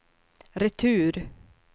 retur